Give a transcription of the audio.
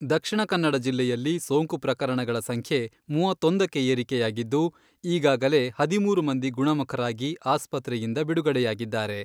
ದಕ್ಷಿಣ ಕನ್ನಡ ಜಿಲ್ಲೆಯಲ್ಲಿ ಸೋಂಕು ಪ್ರಕರಣಗಳ ಸಂಖ್ಯೆ ಮೂವತ್ತೊಂದಕ್ಕೆ ಏರಿಯಾಗಿದ್ದು, ಈಗಾಗಲೇ ಹದಿಮೂರು ಮಂದಿ ಗುಣಮುಖರಾಗಿ ಆಸ್ಪತ್ರೆಯಿಂದ ಬಿಡುಗಡೆಯಾಗಿದ್ದಾರೆ.